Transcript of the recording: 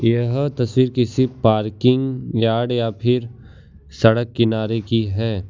यह तस्वीर किसी पार्किंग यार्ड या फिर सड़क किनारे की है।